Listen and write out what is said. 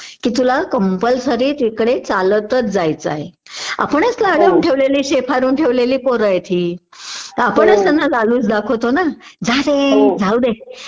कि तुला कम्पलसरी तिकडे चालताच जायचं आहे आपणच लाडावून ठेवलेली शेफारून ठेवलेली पोरं आहेत हि आपणच त्यांना लालूच दाखवतो ना जारे जाऊ दे